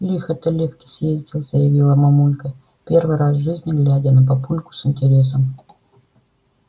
лихо ты лёвке съездил заявила мамулька первый раз в жизни глядя на папульку с интересом